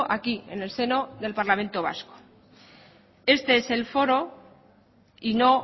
aquí en el seno del parlamento vasco este es el foro y no